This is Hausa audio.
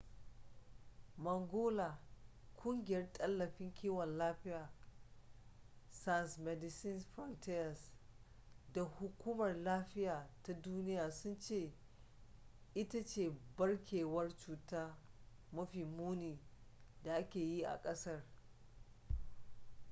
mangola kungiyar tallafin kiwon lafiya sans medecines frontieres da hukumar lafiya ta duniya sun ce ita ce barkewar cuta mafi muni da aka yi a kasar